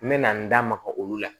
N mɛna n da maga olu la